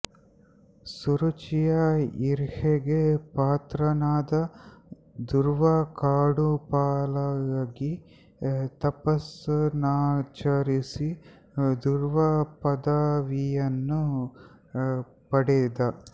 ಸುರುಚಿಯ ಈರ್ಷೆಗೆ ಪಾತ್ರನಾದ ಧ್ರುವ ಕಾಡುಪಾಲಾಗಿ ತಪಸ್ಸನ್ನಾಚರಿಸಿ ಧ್ರುವ ಪದವಿಯನ್ನು ಪಡೆದ